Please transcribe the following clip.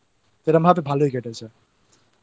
ওখানে বসেছিলাম কিছুক্ষন এরকভাবে তো ভালই কেটেছে।